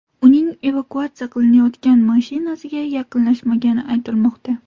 Uning evakuatsiya qilinayotgan mashinasiga yaqinlashmagani aytilmoqda.